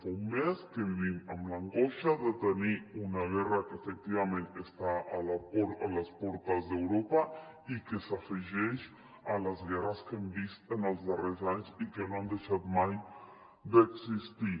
fa un mes que vivim amb l’angoi·xa de tenir una guerra que efectivament està a les portes d’europa i que s’afegeix a les guerres que hem vist en els darrers anys i que no han deixat mai d’existir